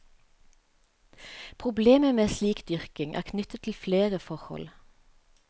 Problemet med slik dyrking er knyttet til flere forhold.